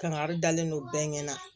Kangari dalen don bɛɛ ɲɛna